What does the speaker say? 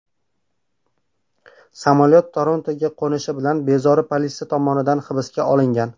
Samolyot Torontoga qo‘nishi bilan bezori politsiya tomonidan hibsga olingan.